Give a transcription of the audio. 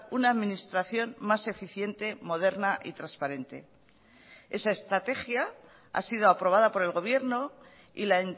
una administración más eficiente moderna y transparente esa estrategia ha sido aprobada por el gobierno y la